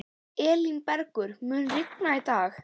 Elínbergur, mun rigna í dag?